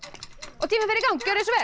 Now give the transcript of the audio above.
og tíminn fer í gang gjörið svo vel